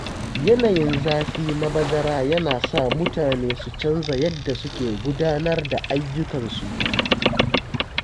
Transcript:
Yanayin zafi na bazara yana sa mutane su canza yadda suke gudanar da ayyukansu.